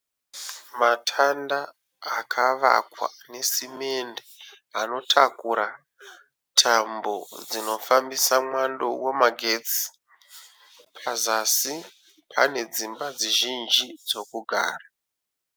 Matanda akavakwa nesimende anotakura tambo dzinofambisa mwando wemagetsi. Pazasi pane dzimba zhinji dzokugara.